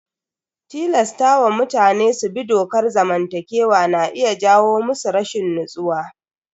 Tilasta wa mutane su bi dokar zamantakewa na iya jawo musu rashin natsuwa.